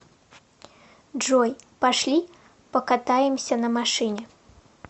джой пошли покатаемся на машине